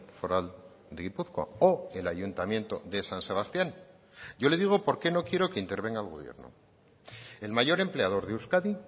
foral de gipuzkoa o el ayuntamiento de san sebastián yo le digo por qué no quiero que intervenga el gobierno el mayor empleador de euskadi